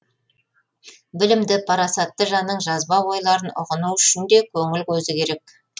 білімді парасатты жанның жазба ойларын ұғыну үшін де көңіл көзі керек